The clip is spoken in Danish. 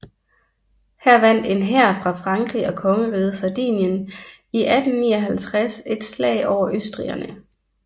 Her vandt en hær fra Frankrig og kongeriget Sardinien i 1859 et slag over østrigerne